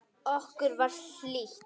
Okkur var hlýtt.